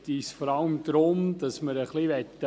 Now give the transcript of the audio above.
Ich gebe dem Antragsteller, Grossrat Sommer, das Wort.